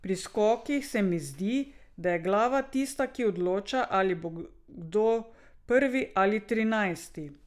Pri skokih se mi zdi, da je glava tista, ki odloča, ali bo kdo prvi ali trinajsti.